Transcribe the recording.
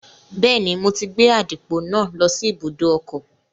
Bẹ́ẹ̀ni, mo ti gbé àdìpọ̀ náà lọ sí ibùdó ọkọ̀